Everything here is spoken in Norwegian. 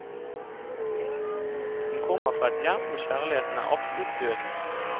Hun kommer fra et hjem hvor kjærligheten er absolutt død.